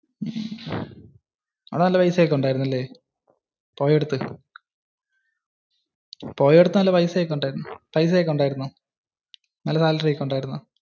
അവിടെ നല്ല പൈസ ഒക്കെ ഉണ്ടായിരുന്നു ല്ലേ. പോയ അടുത്ത്. പോയ അടുത്ത് നല്ല പൈസ ഒക്കെ ഉണ്ടായിരുന്നോ? നല്ല salary ഒക്കെ ഉണ്ടായിരുന്നോ?